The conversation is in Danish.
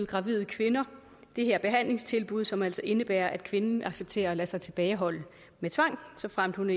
gravide kvinder det her behandlingstilbud som altså indebærer at kvinden accepterer at lade sig tilbageholde med tvang såfremt hun